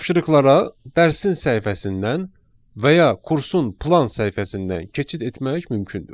Tapşırıqlara dərsin səhifəsindən və ya kursun plan səhifəsindən keçid etmək mümkündür.